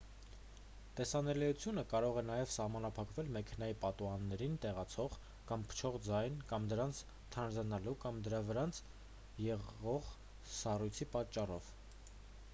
տեսանելիությունը կարող է նաև սահմանափակվել մեքենայի պատուհաններին տեղացող կամ փչող ձյան կամ դրանց թանձրանալու կամ դրանց վրա եղող սառույցի պատճառով